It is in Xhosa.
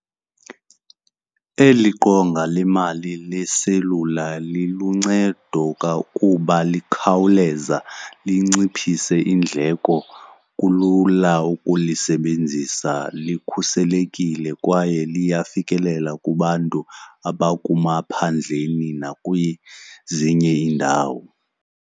Eli qonga lemali leselula lilluncedo kuba likhawuleza linciphise iindleko. Kulula ukulisebenzisa, likhuselekile kwaye liyafikelela kubantu abakumaphandleni nakwezinye iindawo.